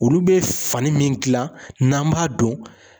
Olu bɛ fani min gilan n'an b'a don.